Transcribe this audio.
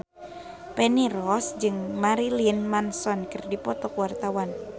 Feni Rose jeung Marilyn Manson keur dipoto ku wartawan